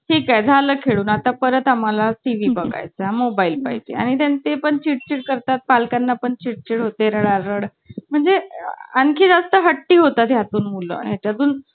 ठीक आहे ,झालं खेळून आता परत आम्हाला TV बघाय चा mobile पाहिजे आणि ते पण चिडचिड करतात. पालकांना पण चिडचिड होते राडारोड म्हणजे आणखी जास्त हट्टी होता. त्यातून मुलं आहेत